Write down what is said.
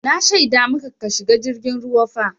Na shaida maka ka shiga jirgin ruwa fa!